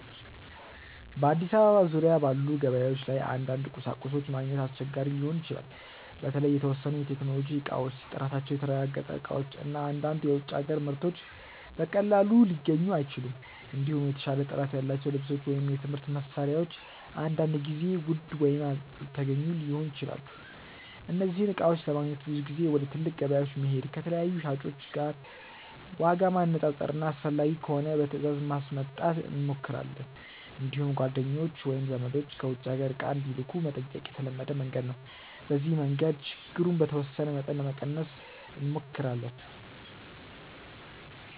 በአዲስ አበባ ዙሪያ ባሉ ገበያዎች ላይ አንዳንድ ቁሳቁሶች ማግኘት አስቸጋሪ ሊሆን ይችላል። በተለይ የተወሰኑ የቴክኖሎጂ እቃዎች፣ ጥራታቸው የተረጋገጠ እቃዎች እና አንዳንድ የውጭ አገር ምርቶች በቀላሉ ሊገኙ አይችሉም። እንዲሁም የተሻለ ጥራት ያላቸው ልብሶች ወይም የትምህርት መሳሪያዎች አንዳንድ ጊዜ ውድ ወይም አልተገኙ ሊሆኑ ይችላሉ። እነዚህን እቃዎች ለማግኘት ብዙ ጊዜ ወደ ትልቅ ገበያዎች መሄድ፣ ከተለያዩ ሻጮች ዋጋ ማነፃፀር እና አስፈላጊ ከሆነ በትእዛዝ ማስመጣት እንሞክራለን። እንዲሁም ጓደኞች ወይም ዘመዶች ከውጭ አገር እቃ እንዲልኩ መጠየቅ የተለመደ መንገድ ነው። በዚህ መንገድ ችግሩን በተወሰነ መጠን ለመቀነስ እንሞክራለን።